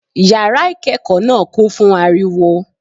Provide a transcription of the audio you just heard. Yàrá ìkékòó náà kún fún ariwo